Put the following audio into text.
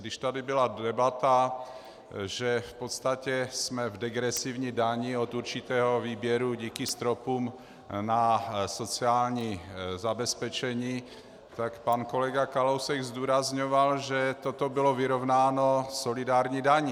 Když tady byla debata, že v podstatě jsme v degresivní dani od určitého výběru díky stropům na sociální zabezpečení, tak pan kolega Kalousek zdůrazňoval, že toto bylo vyrovnáno solidární daní.